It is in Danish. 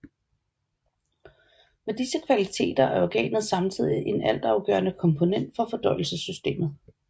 Med disse kvaliteter er organet samtidig en altafgørende komponent for fordøjelsessystemet